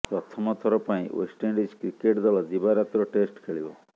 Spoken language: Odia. ପ୍ରଥମ ଥର ପାଇଁ େଓ୍ବଷ୍ଟଇଣ୍ଡିଜ୍ କ୍ରିକେଟ୍ ଦଳ ଦିବାରାତ୍ର ଟେଷ୍ଟ ଖେଳିବ